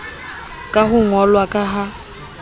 ka ho ngollwa ka ha